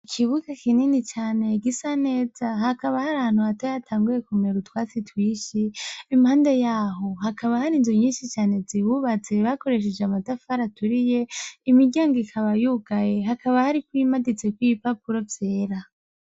Ikibuga kinini cane gisa neza hakaba hari ahantu hata yatanguye kumeye utwatsi twishi impande yaho hakaba hari inzu nyinshi cane zibubatze bakoresheje amataf ari aturiye imiryango ikaba yugaye hakaba hariko imaditseko ibipapuro vyera.